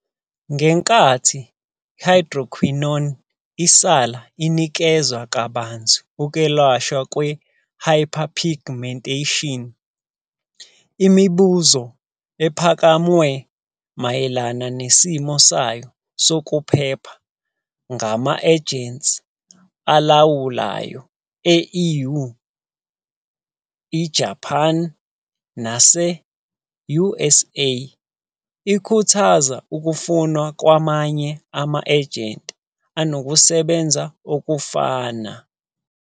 Ngenkathi i-hydroquinone isala inikezwa kabanzi ukwelashwa kwe-hyperpigmentation, imibuzo ephakamwe mayelana nesimo sayo sokuphepha ngama-ejensi alawulayo e-EU, eJapane, nase-USA ikhuthaza ukufunwa kwamanye ama-agent anokusebenza okufana.